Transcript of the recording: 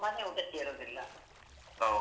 ಮನೆ ಊಟ ಸೇರುದಿಲ್ಲ.